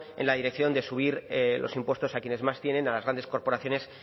en la dirección de subir los impuestos a quienes más tienen a las grandes corporaciones